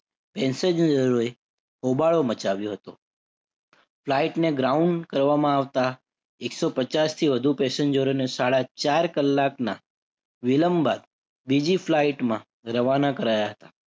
પેસેંજરોએ હોબાળો મચાવ્યો હતો. Flight ને ground કરવામાં આવતા એક સો પચાસથી વધુ પેસેન્જરોને સાડા ચાર કલાકના વિલંબ બાદ બીજી flight માં રવાના કરાયા હતા.